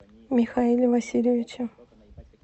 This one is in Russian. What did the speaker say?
михаиле васильевиче